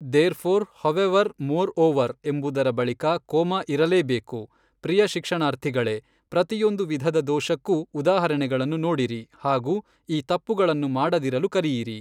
There four however moreover ಎಂಬುದರ ಬಳಿಕ comma ಇರಲೇಬೇಕು ಪ್ರಿಯ ಶಿಕ್ಷಣಾರ್ಥಿಗಳೇ ಪ್ರತಿಯೊಂದು ವಿಧದ ದೋಷಕ್ಕೂ ಉದಾಹರಣೆಗಳನ್ನು ನೋಡಿರಿ ಹಾಗು ಈ ತಪ್ಪುಗಳನ್ನು ಮಾಡದಿರಲು ಕಲಿಯಿರಿ.